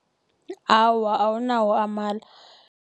Awa, awunawo amala.